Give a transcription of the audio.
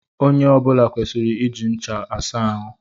Onye ọ bula kwesịrị iji ncha asa ahụ.